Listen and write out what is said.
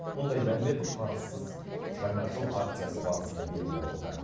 мұндай мәлімет қарызсыз жаңа жыл акциясы барысында белгілі болды